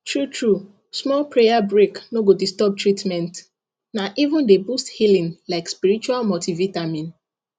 truetrue small prayer break no go disturb treatment na even dey boost healing like spiritual multivitamin